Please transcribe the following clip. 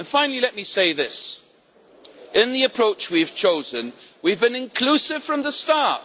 Finally, let me say this in the approach that we have chosen, we have been inclusive from the start.